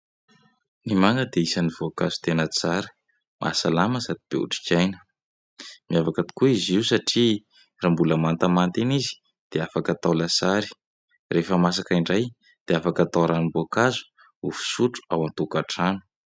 Ny manga dia isan'ny voankazo tena tsara, mahasalama sady be otrikaina. Miavaka tokoa izy io satria raha mbola mantamanta iny izy, dia afaka atao lasary ; rehefa masaka indray, dia afaka atao ranom-boankazo ho fisotro ao an-tokantrano.